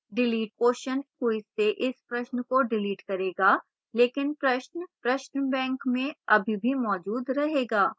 delete question quiz से इस प्रश्न को डिलीट करेगा लेकिन प्रश्न प्रश्न bank में अभी भी मौजूद रहेगा